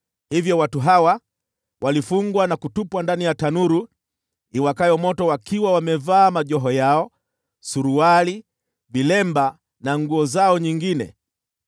Hivyo watu hawa, walifungwa na kutupwa ndani ya tanuru iwakayo moto wakiwa wamevaa majoho yao, suruali, vilemba na nguo zao nyingine.